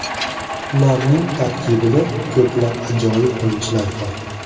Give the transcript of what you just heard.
Ularning tarkibida ko‘plab ajoyib o‘yinchilar bor.